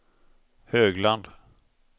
Högland